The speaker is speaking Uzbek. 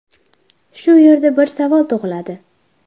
Shu yerda bir savol tug‘iladi.